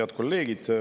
Head kolleegid!